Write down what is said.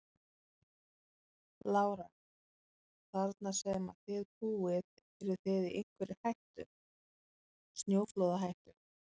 Lára: Þarna sem að þið búið eruð þið í einhverri hættu, snjóflóðahættu?